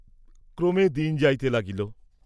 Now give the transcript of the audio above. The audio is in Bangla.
ক্রমে দিন যাইতে লাগিল।